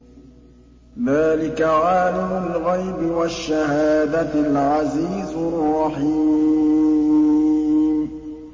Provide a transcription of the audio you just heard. ذَٰلِكَ عَالِمُ الْغَيْبِ وَالشَّهَادَةِ الْعَزِيزُ الرَّحِيمُ